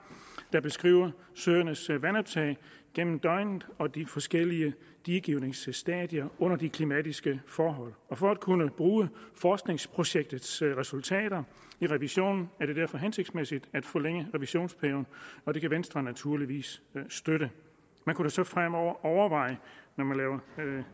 der beskriver søernes vandoptag gennem døgnet og de forskellige diegivningsstadier under de klimatiske forhold for at kunne bruge forskningsprojektets resultater i revisionen er det derfor hensigtsmæssigt at forlænge revisionperioden og det kan venstre naturligvis støtte man kunne så fremover overveje